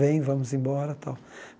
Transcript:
Vem, vamos embora, tal.